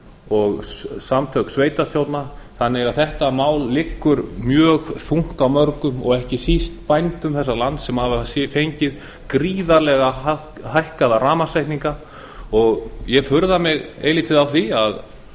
og samtök sveitarstjórna þannig að þetta mál liggur mjög þungt á mörgum og ekki síst bændum þessa lands sem hafa fengið gríðarlega hækkaða rafmagnsreikninga og ég furða mig eilítið á því að